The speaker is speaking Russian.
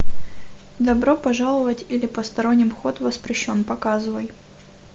добро пожаловать или посторонним вход воспрещен показывай